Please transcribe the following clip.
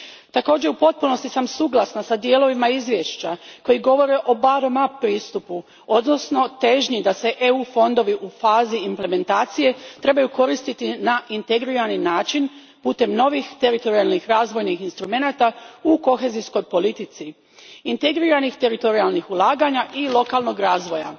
Također u potpunosti sam suglasna s dijelovima izvješća koji govore o bottom up pristupu odnosno težnji da se EU fondovi u fazi implementacije trebaju koristiti na integrirani način putem novih teritorijalnih razvojnih instrumenata u kohezijskoj politici, integriranih teritorijalnih ulaganja i lokalnog razvoja